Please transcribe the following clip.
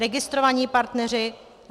Registrovaní partneři.